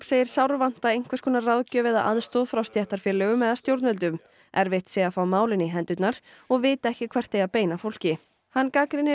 segir sárvanta einhvers konar ráðgjöf eða aðstoð frá stéttarfélögum eða stjórnvöldum erfitt sé að fá málin í hendurnar og vita ekki hvert eigi að beina fólki hann gagnrýnir